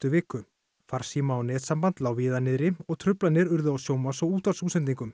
viku farsíma og netsamband lá víða niðri og truflanir urðu á sjónvarps og